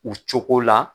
U cogo la